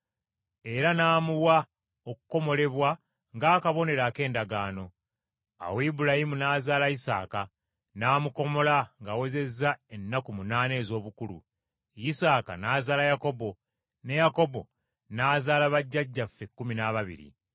Era n’amuwa okukomolebwa ng’akabonero ak’endagaano. Awo lbulayimu n’azaala lsaaka, n’amukomola ng’awezezza ennaku munaana ez’obukulu. Isaaka n’azaala Yakobo, ne Yakobo n’azaala bajjajjaffe ekkumi n’ababiri.